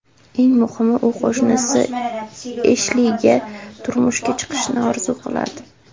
Eng muhimi, u qo‘shnisi Eshliga turmushga chiqishni orzu qiladi.